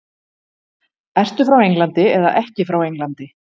Ertu frá Englandi eða ekki frá Englandi?